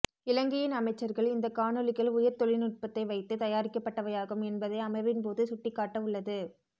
இலங்கையின் அமைச்சர்கள் இந்த காணொளிகள் உயர் தொழில்நுட்பத்தை வைத்து தயாரிக்கப்பட்டவையாகும் என்பதை அமர்வின்போது சுட்டிக்காட்டவுள்ளது